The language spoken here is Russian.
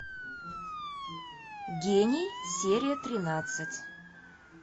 гений серия тринадцать